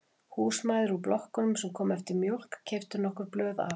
Húsmæður úr blokkunum sem komu eftir mjólk keyptu nokkur blöð af